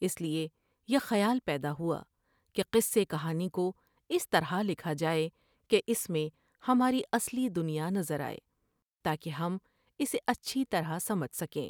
اس لیے یہ خیال پیدا ہوا کہ قصے کہانی کو اس طرح لکھا جائے کہ اس میں ہماری اصلی دنیا نظر آئے تا کہ ہم اسے اچھی طرح سمجھ سکیں ۔